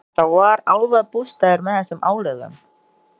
Þetta var álfabústaður með þessum álögum.